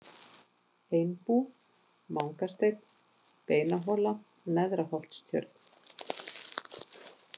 Einbú, Mangasteinn, Beinahola, Neðraholtstjörn